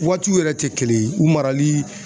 Waatiw yɛrɛ tɛ kelen ye u marali